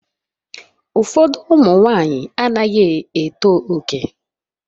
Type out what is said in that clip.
Ụfọdụ ụmụ nwanyị anaghị eto oke